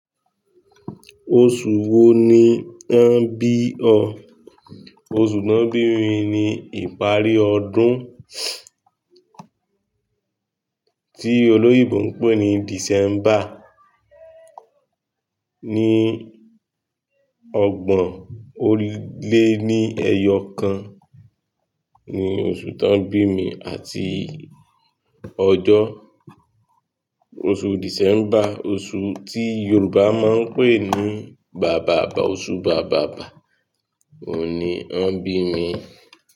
Oṣù wo ni wọ́n bí ọ? Oṣù tó ń bí mi ni ìparí ọdún, tí olóyèbo ń pè ní December, ní ọgbọ̀n ó lé ní ẹyọ kan, ni oṣù tó ń bí mi, àti ọjọ́ oṣù December, oṣù tí Yorùbá máa ń pè ní Bàbàbà, oṣù Bàbàbà, òní wọ́n bí mi.